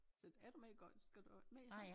Så er du med i skal du med i sådan